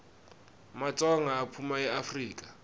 matsonga aphuma eafrika